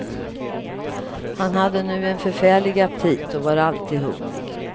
Han hade nu en förfärlig aptit och var alltid hungrig.